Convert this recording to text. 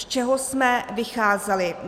Z čeho jsme vycházeli.